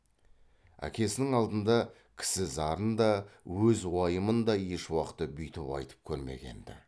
әкесінің алдында кісі зарын да өз уайымын да ешуақытта бүйтіп айтып көрмеген ді